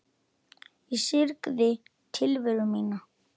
Ég syrgði tilveru mína.